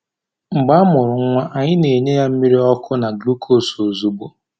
Mgbe a mụrụ nwa, anyị na-enye ya ya mmiri ọkụ na gluukos ozugbo.